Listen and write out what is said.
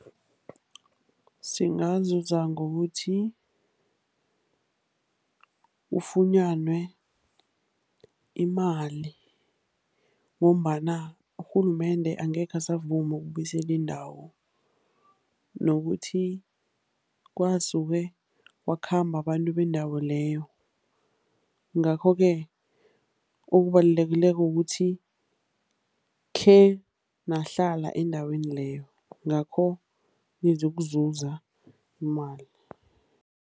Singazuza ngokuthi kufunyanwe imali ngombana urhulumende angekhe asavuma ukubuyisela indawo nokuthi kwasuke wakhamba abantu bendawo leyo, ngakhoke okubalulekileko ukuthi khenahlala endaweni leyo, ngakho nizokuzuza imali.